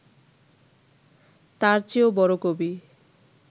তার চেয়েও বড় কবি